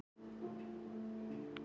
Hann hafði komið úr